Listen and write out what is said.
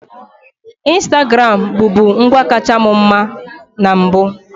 Instagram bụbu ngwa kacha mu mma na mbụ.